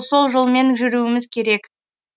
сол жолмен жүруіміз керек